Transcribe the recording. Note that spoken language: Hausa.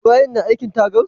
Ibrahim na aikin tagar?